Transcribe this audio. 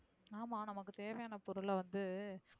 ஆமா நமக்கு தேவையான பொருள வந்து.